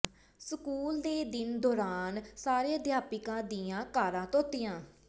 school ਦੇ ਦਿਨ ਦੌਰਾਨ ਸਾਰੇ ਅਧਿਆਪਕਾਂ ਦੀਆਂ ਕਾਰਾਂ ਧੋਤੀਆਂ